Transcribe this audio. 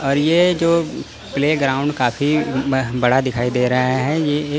और ये जो प्ले ग्राउंड काफी बड़ा दिखाई दे रहा है ये एक--